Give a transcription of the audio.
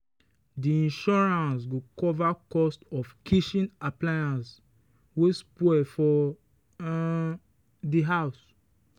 the insurance go cover cost of kitchen appliance wey spoil for um the house.